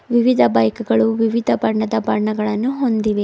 ವಿವಿಧ ಬೈಕುಗಳು ವಿವಿಧ ಬಣ್ಣದ ಬಣ್ಣಗಳನ್ನು ಹೊಂದಿವೆ.